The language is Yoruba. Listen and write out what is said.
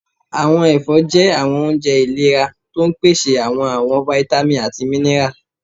Àwọn ẹfọ́ jẹ́ àwọn oúnjẹ iléra, tó ń pèsè àwọn àwọn vitamins àti minerals.